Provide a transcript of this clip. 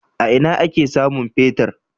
A ina ake samun fetir?